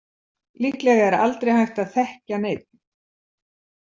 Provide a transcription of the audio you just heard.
Líklega er aldrei hægt að þekkja neinn.